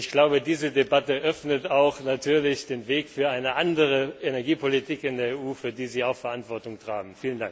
Und ich glaube, diese Debatte öffnet natürlich auch den Weg für eine andere Energiepolitik in der EU, für die Sie ja auch Verantwortung tragen.